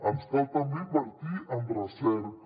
ens cal també invertir en recerca